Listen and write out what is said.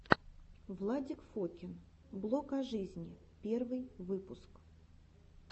владик фокин блог о жизни первый выпуск